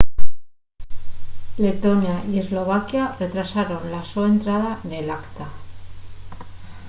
letonia y eslovaquia retrasaron la so entrada nel acta